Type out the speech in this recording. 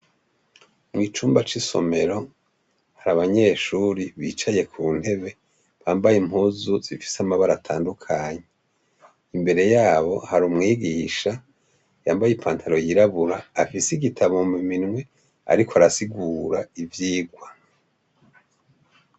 Mw'icumba c'isomero hari abanyeshuri bicaye ku ntebe bambaye impuzu zifise amabara atandukanyi imbere yabo hari umwigisha yambaye i pantaro yirabura afise igitabo muminwe, ariko arasigura ivyirwa.